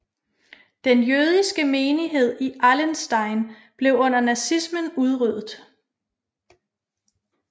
Den jødiske menighed i Allenstein blev under nazismen udryddet